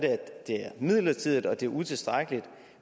det er midlertidigt og at det er utilstrækkeligt